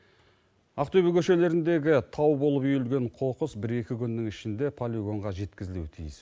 ақтөбе көшелеріндегі тау болып үйілген қоқыс бір екі күннің ішінде полигонға жеткізілуі тиіс